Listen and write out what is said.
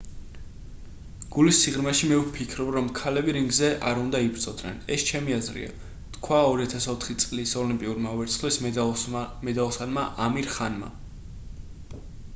გულის სიღრმეში მე ვფიქრობ რომ ქალები რინგზე არ უნდა იბრძოდნენ ეს ჩემი აზრია თქვა 2004 წლის ოლიმპიურმა ვერცხლის მედალოსანმა ამირ ხანმა